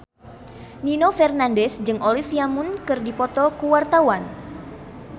Nino Fernandez jeung Olivia Munn keur dipoto ku wartawan